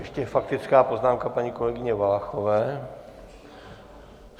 Ještě faktická poznámka paní kolegyně Valachové.